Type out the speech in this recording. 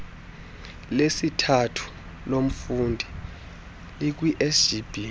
lesithathu lomfundi likwisgb